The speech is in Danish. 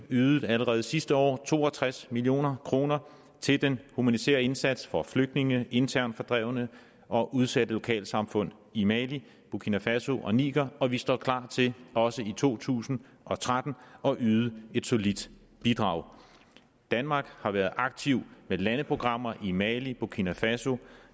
ydede allerede sidste år to og tres million kroner til den humanitære indsats for flygtninge internt fordrevne og udsatte lokalsamfund i mali burkina faso og niger og vi står klar til også i to tusind og tretten at yde et solidt bidrag danmark har været aktiv med landeprogrammer i mali burkina faso